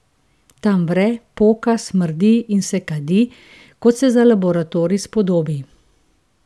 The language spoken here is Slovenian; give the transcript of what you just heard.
Tam vre, poka, smrdi in se kadi, kot se za laboratorij spodobi.